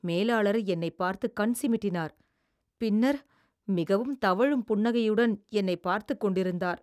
மேலாளர் என்னைப் பார்த்து கண் சிமிட்டினார், பின்னர் மிகவும் தவழும் புன்னகையுடன் என்னைப் பார்த்துக் கொண்டிருந்தார்.